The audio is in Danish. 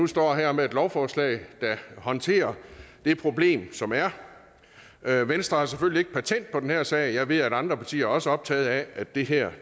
står her med et lovforslag der håndterer det problem som er er venstre har selvfølgelig ikke patent på den her sag jeg ved at andre partier også er optaget af at det her